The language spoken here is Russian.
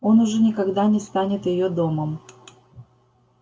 он уже никогда не станет её домом